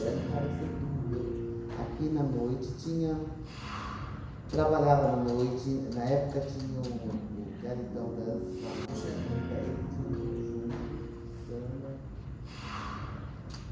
É um cara que sempre viveu aqui na noite, tinha... Trabalhava na noite, na época tinha o o Garitão Dance lá na Barra Funda, ele tinha um conjunto de samba.